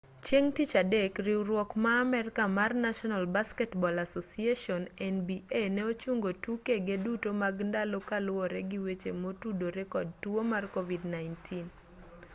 chieng' tich adek riwruok ma amerka mar national basketball association nba ne ochungo tukege duto mag ndalo kaluwore gi weche motudore kod tuo mar covid-19